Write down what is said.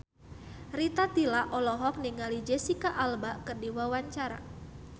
Rita Tila olohok ningali Jesicca Alba keur diwawancara